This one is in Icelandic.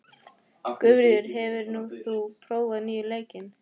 Guðfríður, hefur þú prófað nýja leikinn?